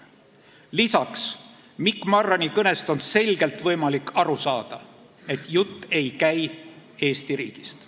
Lisaks on Mikk Marrani kõnest võimalik selgelt aru saada, et jutt ei käi Eesti riigist.